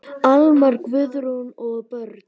Almar, Guðrún og börn.